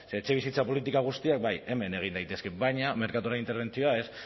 ze etxebizitza politika guztiak bai hemen egin daitezke baina merkatuan interbentzioa ez